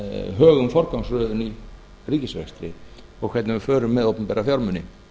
högum forgangsröðun í ríkisrekstri og hvernig við förum með opinbera fjármuni